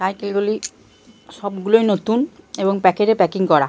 Cycle গুলি সব গুলোই নতুন এবং প্যাকেট এ পাকিং করা।